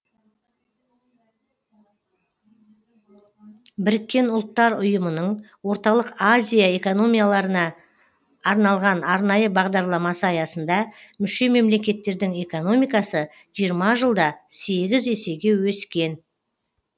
біріккен ұлттар ұйымының орталық азия экономикаларына арналған арнайы бағдарламасы аясында мүше мемлекеттердің экономикасы жиырма жылда сегіз есеге өскен